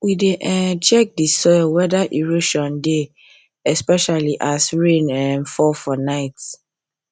we dey um check the soil wether erosion dey especially as rain um fall for night